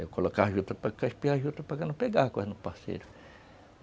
Eu colocava a juta para cá parceiro.